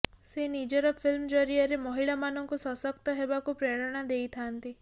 ସେ ନିଜର ଫିଲ୍ମ ଜରିଆରେ ମହିଳାମାନଙ୍କୁ ସଶକ୍ତ ହେବାକୁ ପ୍ରେରଣା ଦେଇଥାନ୍ତି